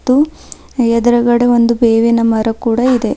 ತು ಎದುರುಗಡೆ ಒಂದು ಬೇವಿನ ಮರ ಕೂಡ ಇದೆ.